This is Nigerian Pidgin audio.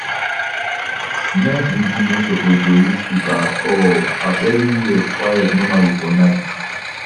night vigil no suppose dey use speaker at all as evriwhere quiet normally for night